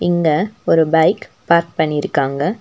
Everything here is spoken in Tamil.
இங்க ஒரு பைக் பார்க் பண்ணிருக்காங்க.